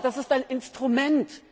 Aber das ist ein Instrument.